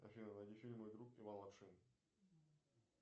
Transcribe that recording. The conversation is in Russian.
афина найди фильм мой друг иван лапшин